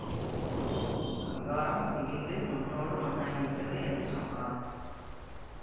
விஹாரம் இடிந்து மண்ணோடு மண்ணாகிவிட்டது என்று சொன்னார்